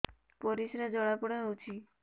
ପରିସ୍ରା ଜଳାପୋଡା ହଉଛି